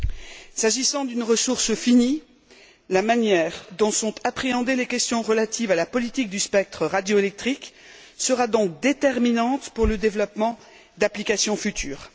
Puisqu'il s'agit d'une ressource finie, la manière dont sont appréhendées les questions relatives à la politique du spectre radioélectrique sera donc déterminante pour le développement d'applications futures.